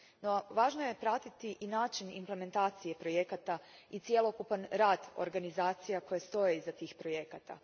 No, važno je pratiti i način implementacije projekata i cjelokupan rad organizacija koje stoje iza tih projekata.